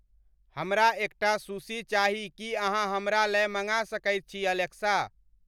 हमरा एकटा सुशी चाही की अहाँ हमरा लए मंगा सकइत छी एलेक्सा ।